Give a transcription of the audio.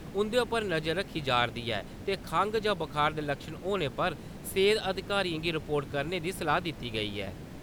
उं'दे उप्पर नजर रक्खी जा'रदी ऐ ते खंग जां बुखार दे लक्शन होने पर सेहत अधिकारियें गी रिपोर्ट करने दी सलाह् दित्ती गेई ऐ ।